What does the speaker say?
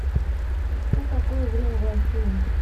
что такое время в россии